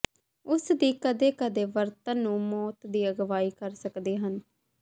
ਉਸ ਦੀ ਕਦੇ ਕਦੇ ਵਰਤਣ ਨੂੰ ਮੌਤ ਦੀ ਅਗਵਾਈ ਕਰ ਸਕਦੇ ਹਨ